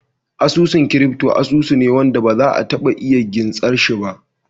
Asusun crypto asusu ne ne wanda ba za a taba iya gintsar shi ba